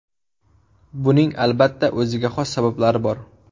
Buning, albatta, o‘ziga xos sabablari bor.